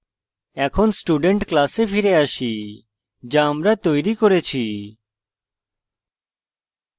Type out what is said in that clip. এখন student class ফিরে আসি so আমরা তৈরী করেছি